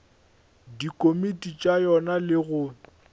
dikomiti tša yona le go